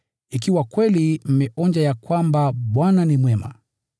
ikiwa kweli mmeonja ya kwamba Bwana ni mwema.